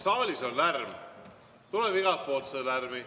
Saalis on lärm, tuleb igalt poolt seda lärmi.